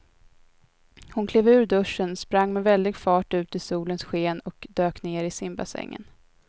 Hon klev ur duschen, sprang med väldig fart ut i solens sken och dök ner i simbassängen.